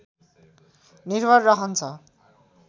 निर्भर रहन्छ